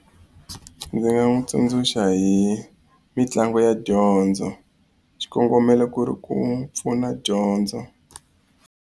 Ndzi nga n'wi tsundzuxa hi mitlangu ya dyondzo xikongomelo ku ri ku n'wi pfuna dyondzo.